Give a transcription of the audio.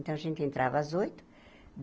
Então, a gente entrava às oito.